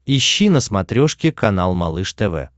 ищи на смотрешке канал малыш тв